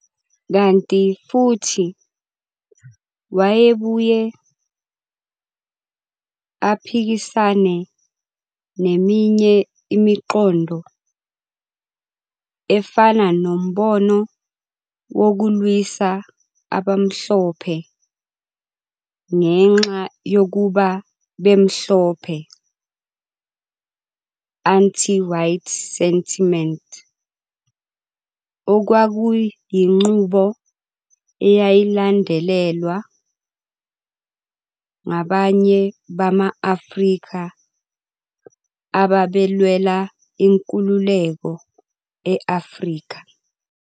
Kanti futhi wayebuye aphikisane neminye imiqondo, efana nombono wokulwisa abamhlophe ngenxa yokuba bemhlophe, anti-white sentiment, okwakuyinqubo eyayilandelwa ngabanye bama-Afrika ababelwela inkululeko e-Afrika.